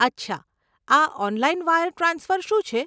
અચ્છા, આ online wire transfer શું છે?